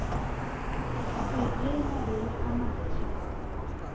se je mabele a matjha